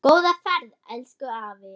Góða ferð, elsku afi.